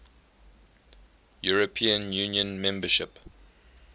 european union membership